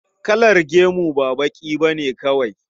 Kalar gemu ba baƙi ba ne kawai.